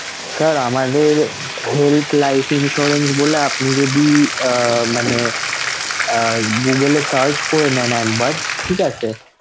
Sir আমাদের health life insurance বলে আপনি যদি আহ google এ search করে নেন একবার, ঠিক আছে!